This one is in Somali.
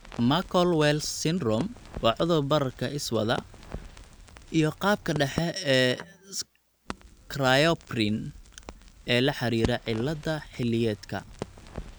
Muckle Wells syndrome waa cudur bararka iswada, iyo qaabka dhexe ee cryopyrin ee la xidhiidha cilladda xilliyeedka (CAPS).